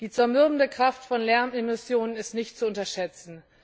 Die zermürbende Kraft von Lärmemissionen ist nicht zu unterschätzen.